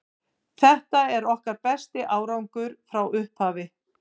Þetta er okkar besti árangur frá upphafi.